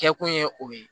Kɛkun ye o ye